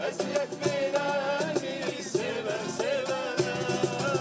Vəsiyyətmi verərmiş sevər-sevərəm.